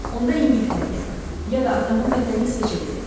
Onda İngiltərəyə, ya da atamın vətəni İsveçə gedək.